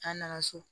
An nana so